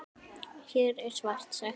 Hér er svart sagt hvítt.